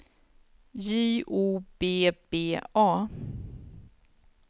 J O B B A